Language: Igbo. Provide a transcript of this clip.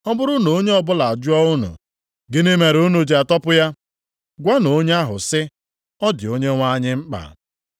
Ọ bụrụ na onye ọbụla ajụọ unu, ‘Gịnị mere unu ji atọpụ ya?’ Gwanụ onye ahụ sị, ‘Ọ dị Onyenwe anyị mkpa.’ ”